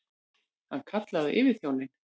Hann kallaði á yfirþjóninn.